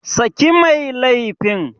Saki mai laifin!